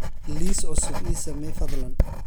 liis cusub ii samee fadlan